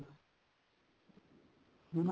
ਹਨਾ